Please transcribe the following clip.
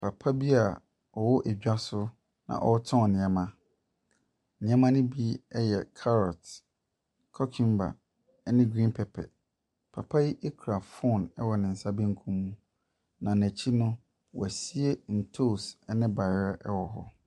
Papa bi a ɔwɔ dwa so na ɔretɔn nneɛma. Nneɛma no bi yɛ carrot, cucumber, ne green pepper. Papa yi kura phone wɔ ne nsa benkum mu, na n'akyi no, wɔasie ntoosi ne bayerɛ wɔ hɔ.